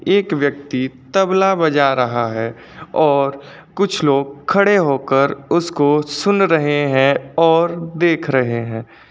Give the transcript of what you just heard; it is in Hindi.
एक व्यक्ति तबला बजा रहा है और कुछ लोग खड़े होकर उसको सुन रहे हैं और देख रहे हैं।